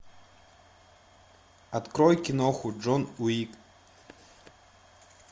открой киноху джон уик